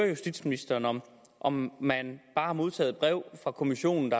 justitsministeren om om man bare har modtaget et brev fra kommissionen